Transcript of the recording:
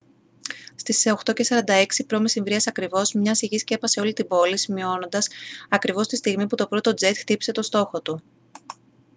στις 8:46 π.μ. ακριβώς μια σιγή σκέπασε όλη την πόλη σημειώνοντας ακριβώς τη στιγμή που το πρώτο τζετ χτύπησε τον στόχο του